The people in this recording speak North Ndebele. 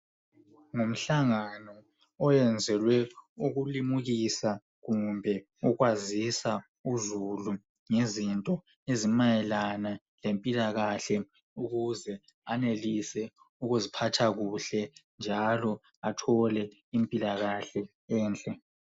Ngumhlangano oyenzelwe ukulimukisa kumbe ukwazisa uzulu ngezinto ezimayelana lempilakahle ukuze anelise ukuziphatha kuhle njalo athole impilakahle enhle